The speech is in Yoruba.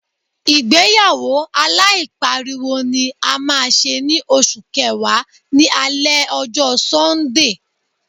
Ìgbéyàwó aláìpariwo ni a máa ṣe ní oṣù kẹwàá, ní alẹ ọjọ́ Sọ́ńdè.